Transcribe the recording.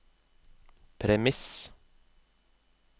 premiss